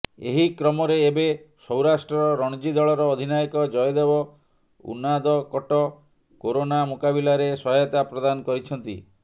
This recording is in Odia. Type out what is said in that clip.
ଏହି କ୍ରମରେ ଏବେ ସୌରାଷ୍ଟ୍ର ରଣଜୀ ଦଳର ଅଧିନାୟକ ଜୟଦେବ ଉନାଦକଟ କୋରୋନା ମୁକାବିଲାରେ ସହାୟତା ପ୍ରଦାନ କରିଛନ୍ତି